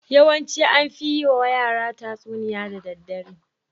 Yawanci an fi yiwa yara tatsuniya da daddare.